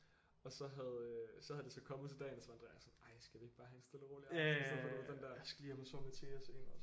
Og så havde øh så havde de så kommet til dagen og så var Andreas sådan ej skal vi ikke bare have en stille og rolig aften i stedet for du ved den der jeg skal lige hjem og sove med Thea senere